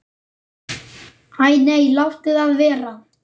Æ nei, láttu það vera.